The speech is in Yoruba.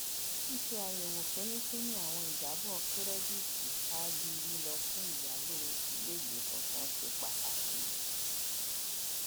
ṣíṣe àyẹwò fínífíní àwọn ìjábọ kírẹdítì ṣáájú lílọ fún ìyàlò iléìgbé tuntun se pàtàkì